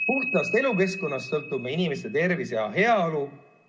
Puhtast elukeskkonnast sõltub meie inimeste tervis ja heaolu.